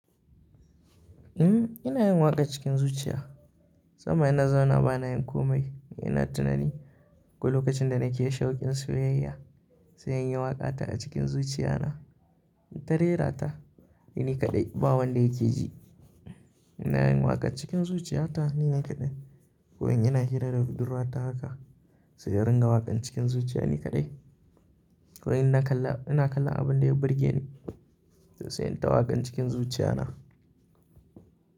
Um, ina yin waƙar cikin zuciya. Musamman ina zauna bana yin komai ina tunani ko lokacin da nake shaƙin soyayya sai in yi waƙa ta a cikin zuciya na. Ta rera ta ni kaɗai, ba wanda yake ji. Ina yin waƙa cikin zuciya ta ni na kaɗai ko in ina hira da budurwa ta haka sai in ringa waƙan cikin zuciya ni kaɗai. Ko in ina kalla, ina kallan abun da ya burge ni sai in ta waƙan cikin zuciya na.